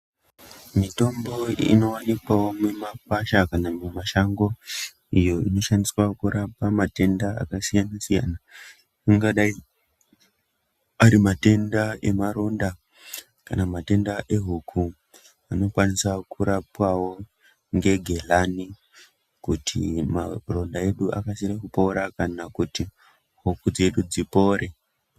Mitombo inowanikwawo mumakwasha kana mumashango iyo inoshandiswa kurapa matenda akasiyana siyana angadai ari matenda emaronda kana matenda ehuku anokwaniswa kurapwawo negehlani kuti maronda edu akasire kupora kana kuti huku dzedu dzipore.